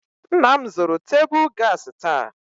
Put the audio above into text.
Nna m zụrụ tebụl gaasị taa.